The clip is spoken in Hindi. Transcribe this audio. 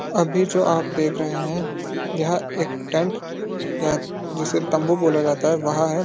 अभी जो आप देख रहे हैं यह एक टेंट या जिसे तम्बू बोला जाता है वह है।